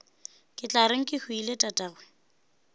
ke tla reng kehwile tatagwe